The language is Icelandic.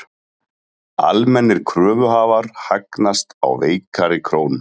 Almennir kröfuhafar hagnast á veikari krónu